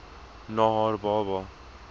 na haar baba